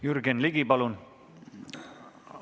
Jürgen Ligi, palun!